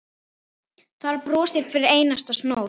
Þar brosir hver einasta snót.